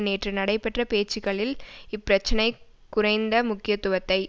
நேற்று நடைபெற்ற பேச்சுக்களில் இப்பிரச்சினை குறைந்த முக்கியத்துவத்தை